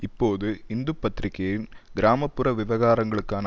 இப்போது இந்து பத்திரிகையின் கிராம புற விவகாரங்களுக்கான